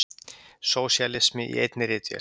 Sósíalismi í einni ritvél!